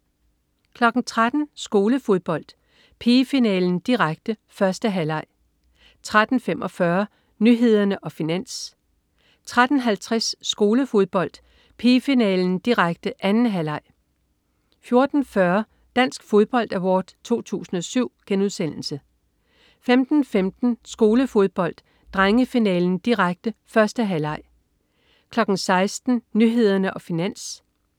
13.00 Skolefodbold: Pigefinalen, direkte, 1. halvleg 13.45 Nyhederne og Finans 13.50 Skolefodbold: Pigefinalen, direkte, 2. halvleg 14.40 Dansk Fodbold Award 2007* 15.15 Skolefodbold: Drengefinalen, direkte, 1. halvleg 16.00 Nyhederne og Finans